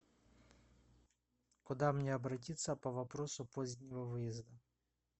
куда мне обратиться по вопросу позднего выезда